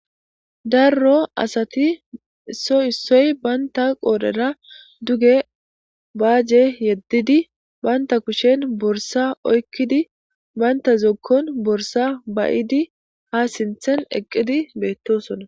Daro asati issoy issoy banta qodhera duge baaje yedidi banta kushen borssa oykidi banta zokoon borssa ba'idi ha sinthen eqidi beetosona.